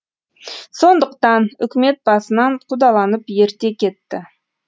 сондықтан үкімет басынан қудаланып ерте кетті